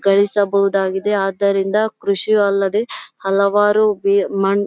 ಗಳಿಸಬಹುದಾಗಿದೆ ಆದ್ದರಿಂದ ಕೃಷಿ ಅಲ್ಲದೆ ಹಲವಾರು ಬೇರೆ ಮನ್ --